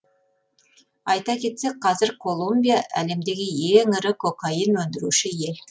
айта кетсек қазір колумбия әлемдегі ең ірі кокаин өндіруші ел